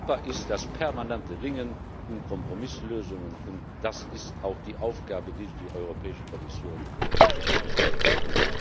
Europa ist das permanente Ringen um Kompromisslösungen, und das ist auch die Aufgabe, die sich die Europäische Kommission gestellt hat.